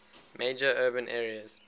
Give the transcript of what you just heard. major urban areas